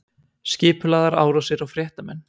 Skipulagðar árásir á fréttamenn